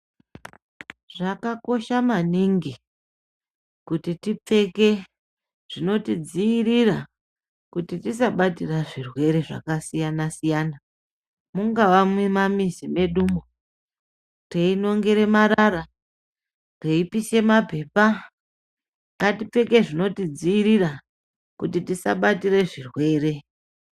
Zvakakosha maningi kuti tipfeke zvinotidziirira kuti tisabate zvirwere zvakasiyana siyana mungava mumamuzi mwedumwo teinongere marara, teipise mapepa ngatipfeke zvinotidziirira kuti tisabatira zvirwere.